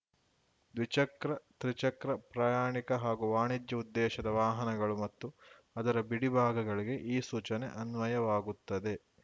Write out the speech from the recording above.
ದ್ವಿಚಕ್ರ ತ್ರಿಚಕ್ರ ಪ್ರಯಾಣಿಕ ಹಾಗೂ ವಾಣಿಜ್ಯ ಉದ್ದೇಶದ ವಾಹನಗಳು ಮತ್ತು ಅದರ ಬಿಡಿಭಾಗಗಳಿಗೆ ಈ ಸೂಚನೆ ಅನ್ವಯವಾಗುತ್ತದೆ